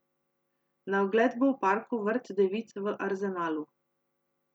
Na ogled bo v parku Vrt devic v Arzenalu.